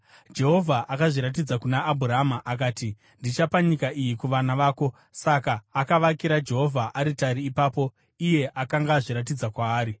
Jehovha akazviratidza kuna Abhurama akati, “Ndichapa nyika iyi kuvana vako.” Saka akavakira Jehovha aritari ipapo, iye akanga azviratidza kwaari.